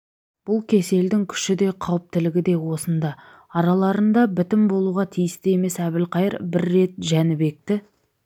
бұл кеселдің күші де қауіптілігі де осында араларында бітім болуға тиісті емес әбілқайыр бір рет жәнібекті